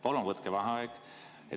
Palun võtke vaheaeg!